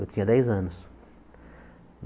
Eu tinha dez anos.